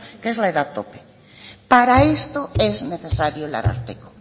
que es la edad tope para esto es necesario el ararteko